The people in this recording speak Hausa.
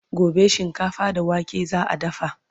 gobe shinkafa da wake za'a dafa